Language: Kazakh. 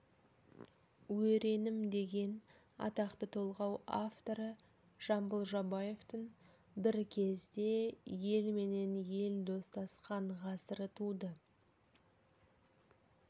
өренім деген атақты толғау авторы жамбыл жабаевтың бір кезде ел менен ел достасқан ғасыры туды